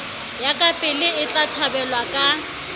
ya kapele etla thabelwa ka